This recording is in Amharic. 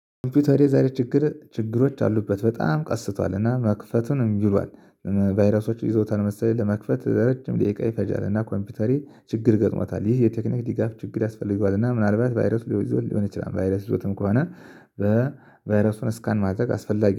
ኮምፒውተሬ ዛሬ ችግር ችግሮች አሉበት በጣም ቀስቷል እና መክፈቱን እምቢ ይሏል። ቫይረሶችን ይዘውታል መሰለኝ ለመክፈት ለረጅም ደቂቃ ይፈጃል። እና ኮምፒውተሬ ችግር ገጥሟታል ይህ የቴክኒክ ድጋፍ ችግር ያስፈልገዋል። እና ምናልባት ቫይረስ ሊሆን ይችላል ቫይረስ ይዞትም ከሆነ በቫይረሱን ስካን ማድረግ አስፈላጊ